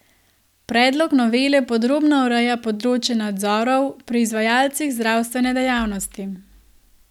Predlog novele podrobno ureja področje nadzorov pri izvajalcih zdravstvene dejavnosti.